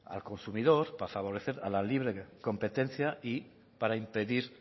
al consumidor para favorecer a la libre competencia y para impedir